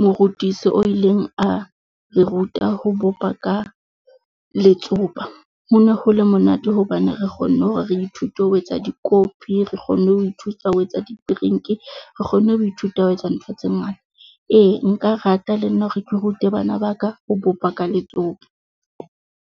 morutisi o ileng a re ruta ho bopa ka letsopa. Ho ne ho le monate hobane re kgonne hore re ithute ho etsa dikopi, re kgonne ho thusa ho etsa di-drink re kgonne ho ithuta ho etsa ntho tse ngata. Ee nka rata le nna hore ke rute bana ba ka ho bopa ka letsopa.